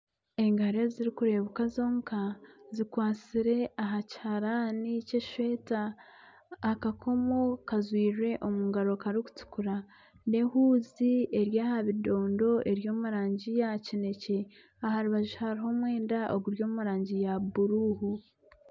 Engaro ezirikureebuka zonka zikwatsire aha kiharaani ky'eshweta ,akakomo kajwairwe omu mukono karikutukura, n'ehuuzi eri aha bidondo eri omurangi ya kinekye aha rubaju hariho omwenda oguri omu rangi ya bururu.